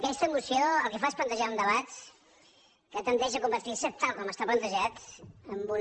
aquesta moció el que fa és plantejar un debat que tendeix a convertir se tal com està plantejat en una